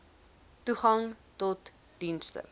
toegang tot dienste